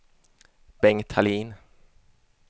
Bengt Hallin